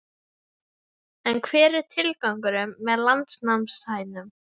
En hver er tilgangurinn með landnámshænunum?